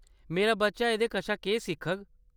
मेरा बच्चा एह्‌‌‌दे कशा केह्‌‌ सिक्खग ?